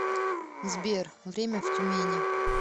сбер время в тюмени